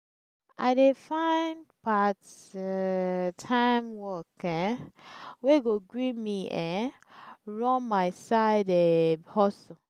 i dey find part-time work um wey go gree me um run my side um hustle.